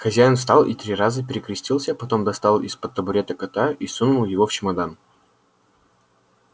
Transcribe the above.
хозяин встал и три раза перекрестился потом достал из-под табурета кота и сунул его в чемодан